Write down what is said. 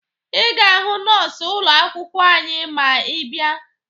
Ị ga-ahụ nọọsụ ụlọ akwụkwọ anyị ma ị bịa